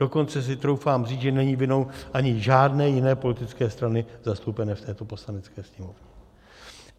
Dokonce si troufám říct, že není vinou ani žádné jiné politické strany, zastoupené v této Poslanecké sněmovně.